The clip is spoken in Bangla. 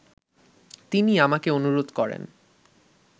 তিনি আমাকে অনুরোধ করেন